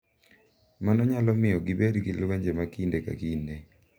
Mano nyalo miyo gibed gi lwenje ma kinde ka kinde,